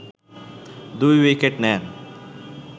২ wicket নেন